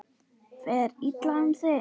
Fer illa um þig?